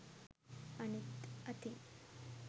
අනිත් අතින්